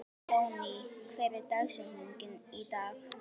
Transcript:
Jónný, hver er dagsetningin í dag?